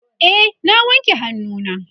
e na wanke hannu na